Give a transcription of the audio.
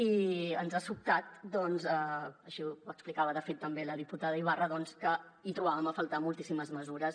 i ens ha sobtat així ho explicava de fet també la diputada ibarra que hi trobàvem a faltar moltíssimes mesures